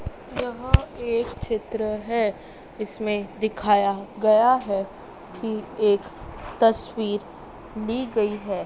यह एक चित्र है इसमें दिखाया गया है कि एक तस्वीर ली गई है।